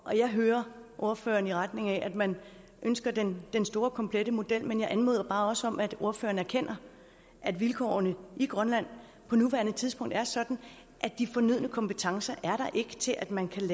og jeg hører ordføreren i retning af at man ønsker den den store komplette model men jeg anmoder også bare om at ordføreren erkender at vilkårene i grønland på nuværende tidspunkt er sådan at de fornødne kompetencer til at man kan